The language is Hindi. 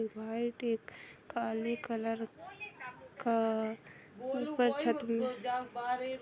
व्हाइट एक काले कलर का ऊपर छत मे--